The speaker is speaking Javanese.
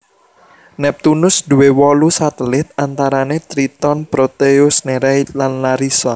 Neptunus duwé wolu satelit antarane Triton Proteus Nereid lan Larissa